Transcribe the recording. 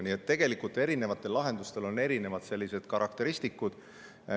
Nii et tegelikult on eri lahendustel erinevad karakteristikud.